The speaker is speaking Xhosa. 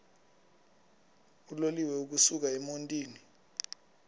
uloliwe ukusuk emontini